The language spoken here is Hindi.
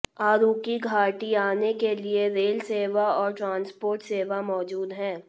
अराकू घाटी आने के लिए रेल सेवा और ट्रांसपोर्ट सेवा मौजूद है